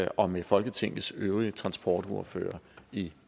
og med folketingets øvrige transportordførere i